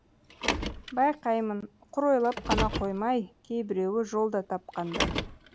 байқаймын құр ойлап қана қоймай кейбіреуі жол да тапқандай